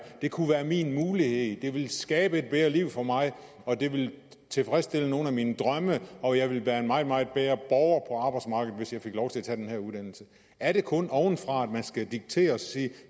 kunne være min mulighed det ville skabe et bedre liv for mig og det ville tilfredsstille nogle af mine drømme og jeg ville være en meget meget bedre borger på arbejdsmarkedet hvis jeg fik lov til at tage den her uddannelse er det kun ovenfra at man skal diktere og sige